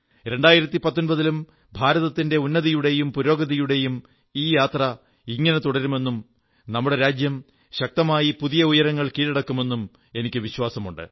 2019 ലും ഭാരതത്തിന്റെ ഉന്നതിയുടെയും പുരോഗതിയുടെയും ഈ യാത്ര ഇങ്ങനെ തുടരുമെന്നും നമ്മുടെ രാജ്യം ശക്തമായി പുതിയ ഉയരങ്ങൾ കീഴടക്കുമെന്നും എനിക്കു വിശ്വാസമുണ്ട്